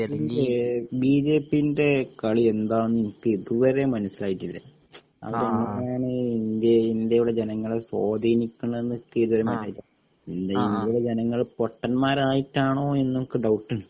ഈ ബിജെപിൻ്റെ കാളി എന്താണെന്ന് എനിക്ക് ഇതുവരെ മനസിലായിട്ടില്ല അവരെങ്ങിനെയാണ് ഇന്ത്യടെ ഇന്ത്യയിലെ ജനങ്ങളെ സ്വാധീനിക്കുന്നത് . ഇന്ത്യയിലെ ജനങ്ങൾ പൊട്ടന്മാരായിട്ടാണോ എന്നൊക്കെ ഡൗട്ട് ഉണ്ട്